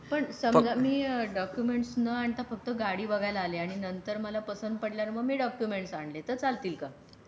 पण समझ मी डॉक्युमेंट्स नंतर फक्त गाडी बघायला आले आणि नंतर मला पसंत पडणार मग मी डॉक्युमेंट आणले तर चालतील काय?